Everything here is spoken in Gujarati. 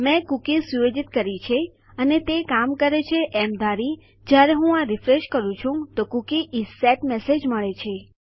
મેં કુકી સુયોજિત કરી છે અને તે કામ કરે છે એમ ધારી જ્યારે હું આ રીફ્રેશ કરું છું તો કૂકી ઇસ સેટ મેસેજ મળે છે